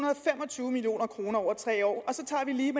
tyve million kroner over tre år og så tager vi lige